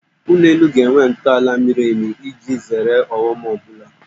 Ụlọ elu ga-enwe ntọaala miri emi iji zere ihe ọghọm ọbụla